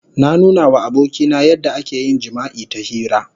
Na nuna wa abokina yadda ake yin jima'i ta hira.